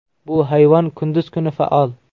Bu hayvon kunduz kuni faol.